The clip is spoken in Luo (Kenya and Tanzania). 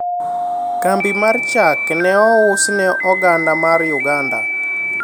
kambi mar chak ne ous ne oganda mar uganda